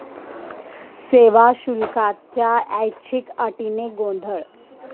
सेवा शुल्काच्या 'ऐच्छिक' अटीने गोंधळ